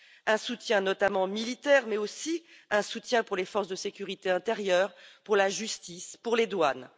Un soutien notamment militaire, mais aussi pour les forces de sécurité intérieure, pour la justice, pour les douanes.